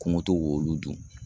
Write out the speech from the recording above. Ko n ka to k'olu dun.